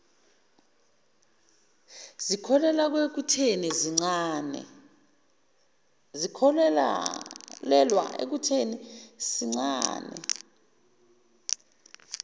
zikholelwa ekutheni sincane